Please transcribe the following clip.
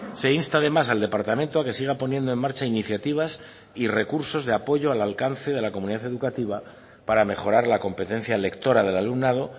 se insta además al departamento a que siga poniendo en marcha iniciativas y recursos de apoyo al alcance de la comunidad educativa para mejorar la competencia lectora del alumnado